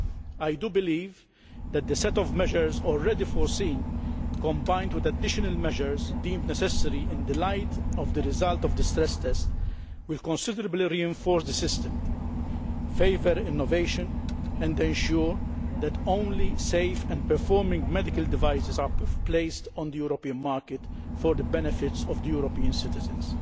I do believe that the set of measures already foreseen, combined with additional measures deemed necessary in the light of the result of the stress test, will considerably reinforce the system, favour innovation and ensure that only safe and performing medical devices are placed on the European market, for the benefit of European citizens.